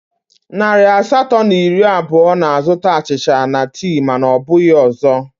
Narị asatọ na iri abụọ na-azụta achịcha na tii mana ọ bụghị ọzọ